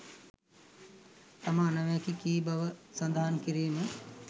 තමා අනාවැකි කී බව සදහන් කිරීම